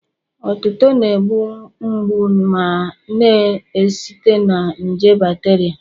Otuto na-egbu mgbu ma na-esite na nje bacteria